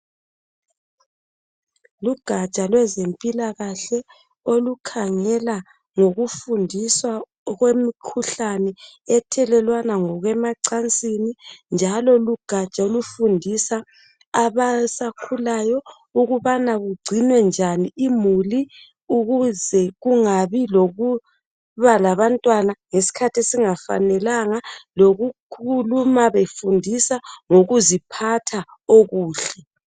Lugaja lwezempilakahle olukhangela ngokufundiswa okwemikhuhlane ethelelwana ngokwemacansini, njalo lugaja olufundisa abasakhulayo ukubana kugcinwe njani imuli ukuze kungabi lokuba labantwana ngesikhathi esingafanelanga lokukhuluma befundisa ngokuziphatha okuhle.